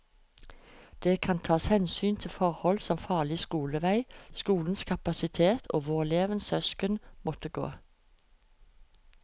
Det kan tas hensyn til forhold som farlig skolevei, skolenes kapasitet og hvor elevens søsken måtte gå.